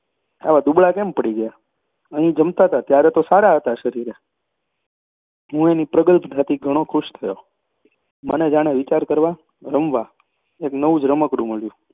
આવા દૂબળા કેમ પડી ગયા? અહીં જમતા ત્યારે તો સારા હતા શરીરે હું એની પ્રગલ્ભતાથી ઘણો ખુશ થયો. મને જાણે વિચાર કરવા, રમવા એક નવું જ રમકડું મળ્યું